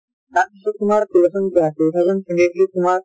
তাৰ পিছত তোমাৰ two thousand ah two thousand twenty twenty three ত তোমাৰ